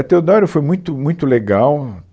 A Teodoro foi muito muito legal.